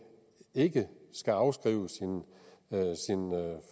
ikke skal afskrive sin